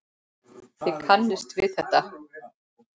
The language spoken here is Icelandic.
Þið kannist við þetta.